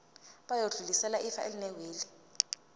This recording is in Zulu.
bayodlulisela ifa elinewili